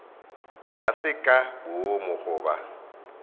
ga se ka boomo goba